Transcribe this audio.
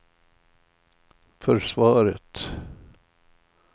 försvaret